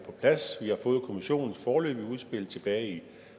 plads vi har fået kommissionens foreløbige udspil tilbage i